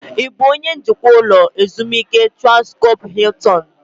Ị bụ onye njikwa ụlọ ezumike Transkọp Hiltin?